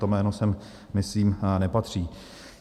To jméno sem myslím nepatří.